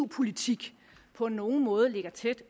eu politik på nogen måde ligger tæt